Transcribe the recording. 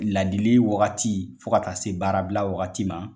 Ladili wagati fo ka taa se baarabila wagati ma.